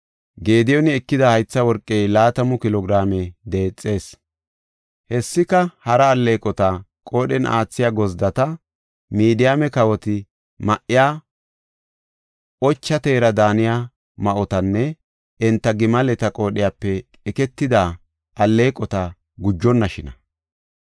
Gediyooni ekida haytha worqey laatamu kilo giraame deexees. Hessika, hara alleeqota, qoodhen aathiya gozddata, Midiyaame kawoti ma7iya ocha teera daaniya ma7otanne enta gimaleta qoodhiyape eketida alleeqota gujonnashina.